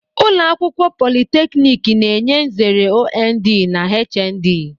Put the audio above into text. Ụlọ akwụkwọ politeknik na-enye nzere OND na HND.